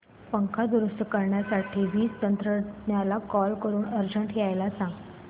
पंखा दुरुस्त करण्यासाठी वीज तंत्रज्ञला कॉल करून अर्जंट यायला सांग